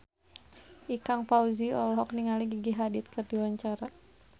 Ikang Fawzi olohok ningali Gigi Hadid keur diwawancara